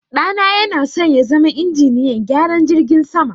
ɗana yanasan yazama injiniyan gyaran jirgin sama